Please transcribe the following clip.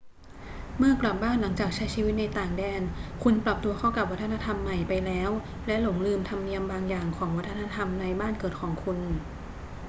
เมื่อกลับบ้านหลังจากใช้ชีวิตในต่างแดน คุณปรับตัวเข้ากับวัฒนธรรมใหม่ไปแล้วและหลงลืมธรรมเนียมบางอย่างของวัฒนธรรมในบ้านเกิดของคุณ